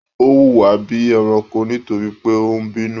O wuwa bíi ẹranko nítorí pé o n bínú.